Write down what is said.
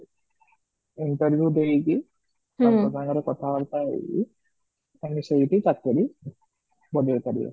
interview ଦେଇକିରି ତାଙ୍କ ସାଙ୍ଗରେ କଥା ବାର୍ତା ହେଇ ତାଙ୍କୁ ସେଇଠି ଚାକିରି ବନେଇ ପାରିବ